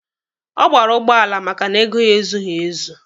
Ọ gbara ụgbọala maka na ego ya ezughi ezu.